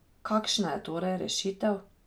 Kakšna je torej rešitev?